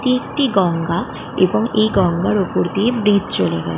এটি একটি গঙ্গা এবং গঙ্গার ওপর দিয়ে ব্রিজ চলে গেছে।